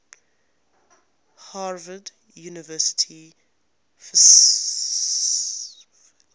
harvard university faculty